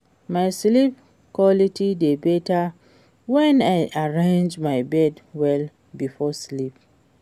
My sleep quality dey better when I arrange my bed well before sleep.